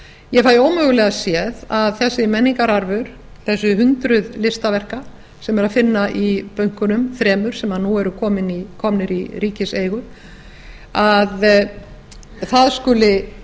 ég fæ ómögulega séð að þessi menningararfur þessu hundruð listaverka sem er að finna í bönkunum þremur sem nú eru komnir í ríkiseigu skuli